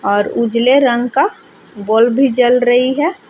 और उजले रंग का बल्ब भी जल रही है।